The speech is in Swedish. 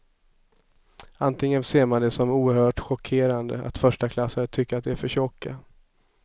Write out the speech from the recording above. Antingen ser man det som oerhört chockerande att förstaklassare tycker att de är för tjocka.